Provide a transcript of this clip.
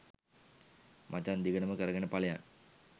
මචං දිගටම කරගෙන පලයන්